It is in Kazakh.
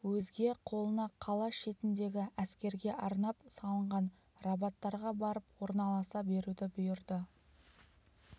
өзге қолына қала шетіндегі әскерге арнап салынған рабаттарға барып орналаса беруді бұйырды